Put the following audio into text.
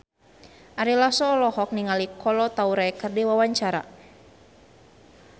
Ari Lasso olohok ningali Kolo Taure keur diwawancara